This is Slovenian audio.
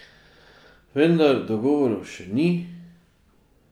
Vendar dogovorov še ni.